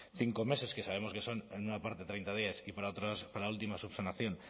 cinco meses que sabemos que son en una parte de treinta días para última subsanación